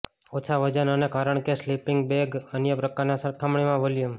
ઓછા વજન અને કારણ કે સ્લીપિંગ બેગ અન્ય પ્રકારના સરખામણીમાં વોલ્યુમ